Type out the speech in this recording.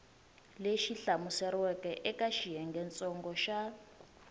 lexi hlamuseriweke eka xiyengentsongo xa